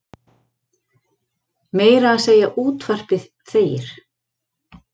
Meira að segja útvarpið þegir.